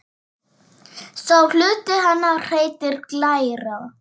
Sá hluti hennar heitir glæra.